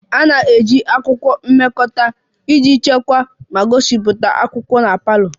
A na-eji akwụkwọ mpịakọta iji chekwaa ma gosipụta akwụkwọ na parlour